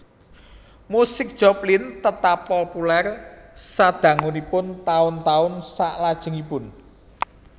Musik Joplin tetap populer sadangunipun taun taun salajengipun